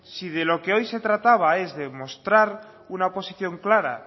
pues si de lo que hoy se trataba es de mostrar una posición clara